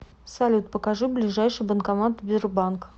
салют покажи ближайший банкомат сбербанк